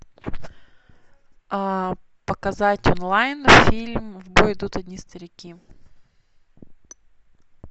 показать онлайн фильм в бой идут одни старики